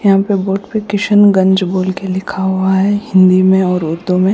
यहाँ पे बोट पे किशनगंज बोल के लिखा हुआ है हिंदी में और उर्दू में --